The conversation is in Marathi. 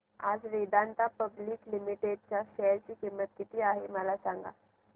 आज वेदांता पब्लिक लिमिटेड च्या शेअर ची किंमत किती आहे मला सांगा